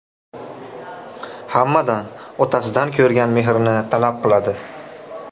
Hammadan otasidan ko‘rgan mehrni talab qiladi.